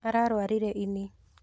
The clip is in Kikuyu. Ararwarire ini.